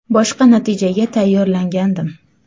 Boshqa natijaga tayyorlangandim.